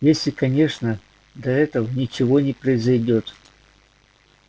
если конечно до этого ничего не произойдёт